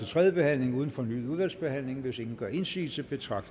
tredje behandling uden fornyet udvalgsbehandling hvis ingen gør indsigelse betragter